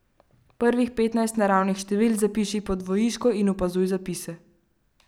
Prvih petnajst naravnih števil zapiši po dvojiško in opazuj zapise.